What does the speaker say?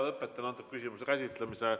Lõpetan küsimuse käsitlemise.